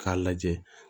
K'a lajɛ